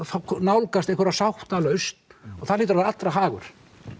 nálgumst einhverja sáttalausn og það hlýtur að vera allra hagur